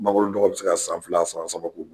Mangoro dɔgɔ bɛ se ka san fila san saba k'u bolo.